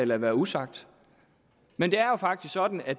lade være usagt men det er jo faktisk sådan at